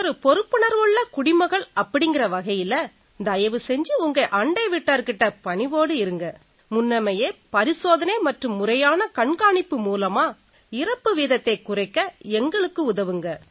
ஒரு பொறுப்புணர்வுள்ள குடிமகள் அப்படீங்கற வகையில தயவு செஞ்சு உங்க அண்டை வீட்டார் கிட்ட பணிவோட இருங்க முன்னமேயே பரிசோதனை மற்றும் முறையான கண்காணிப்பு மூலமா இறப்பு வீதத்தைக் குறைக்க எங்களுக்கு உதவுங்க